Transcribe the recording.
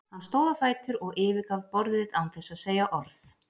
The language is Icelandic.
Hann stóð á fætur og yfirgaf borðið án þess að segja orð.